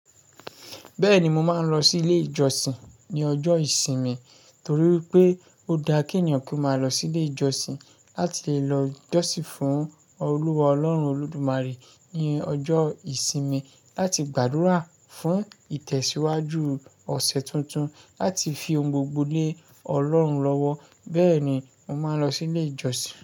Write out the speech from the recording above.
Bẹ́ẹ̀ni, mo máa ń lọ sí ilé ìjọsìn ní ọjọ́ ìsinmi torí wipé ó daa kènìyàn kó máa lọ silé ìjọsìn láti lọ jọ́sìn fún Olúwa Ọlọ́run Olódùmarè ní ọjọ́ ìsinmi láti gbàdúrà fún ìtẹ̀síwájú ọ̀sẹ̀ tuntun láti fi ohun gbogbo lé Ọlọ́run lọ́wọ́. Bẹ́ẹ̀ni, mo máa n lọ silé ìjọsìn.